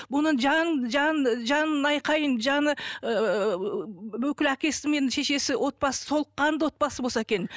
бұның жан жан жан айқайын жаны ыыы бүкіл әкесі мен шешесі отбасы толыққанды отбасы болса екен